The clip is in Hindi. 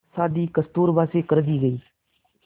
शादी कस्तूरबा से कर दी गई